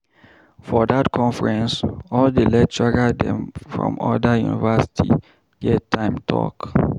For dat conference, all di lecturer dem from oda university get time talk.